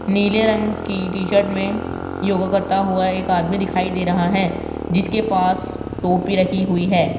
नीले रंग की टी शर्ट में योग करता हुआ एक आदमी दिखाई दे रहा है जिसके पास टोपी रखी हुई है।